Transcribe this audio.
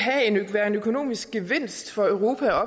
være en økonomisk gevinst for europa